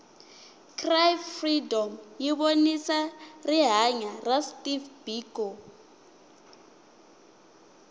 cry freedom yivonisa rihhanya ra steve biko